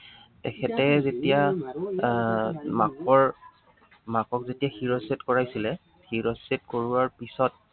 তেখেতে যেতিয়া আহ মাকৰ, মাকক যেতিয়া শিৰচ্ছেদ কৰাইছিলে, শিৰচ্ছেদ কৰোৱাৰ পিছত